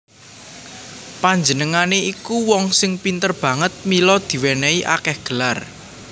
Panjenengané iku wong sing pinter banget mila diwènèhi akèh gelar